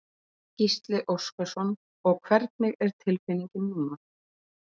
Gísli Óskarsson: Og hvernig er tilfinningin núna?